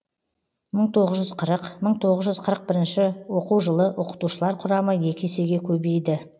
мың тоғыз жүз қырық мың тоғыз жүз қырық бірінші оқу жылы оқытушылар құрамы екі есеге көбейді